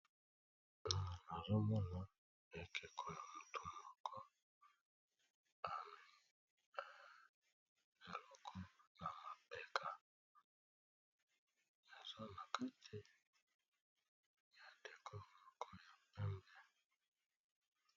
Awa nazomona ekeko mutu moko, amemi eloko na mapeka eza nakati ya eleko ya pembe.